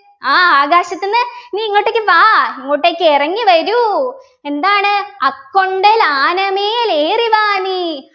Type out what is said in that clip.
ആ ആകാശത്തുന്നു നീ ഇങ്ങോട്ടേക്ക് വാ ഇങ്ങോട്ടേക്ക് ഇറങ്ങി വരൂ എന്താണ് അക്കൊണ്ടൽ ആനമേൽ ഏറിവാ നീ